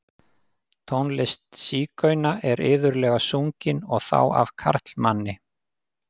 Tónlist sígauna er iðulega sungin, og þá af karlmanni.